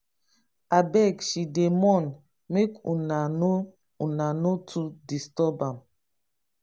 abeg she dey mourn make una no una no too disturb am.